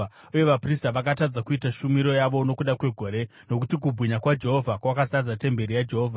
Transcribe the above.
Uye vaprista vakatadza kuita shumiro yavo nokuda kwegore, nokuti kubwinya kwaJehovha kwakazadza temberi yaJehovha.